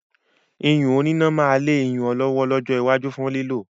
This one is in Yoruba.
iyùn òní iná máa lé iyùn ọlọ́wọ́ lọ́jọ́ iwájú fún lílò